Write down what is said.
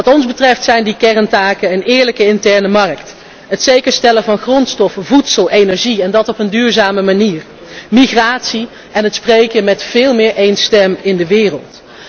Wat ons betreft zijn die kerntaken een eerlijke interne markt, het zeker stellen van grondstoffen, voedsel en energie, en dat op een duurzame manier, migratie en het veel sterker spreken meer één stem in de wereld.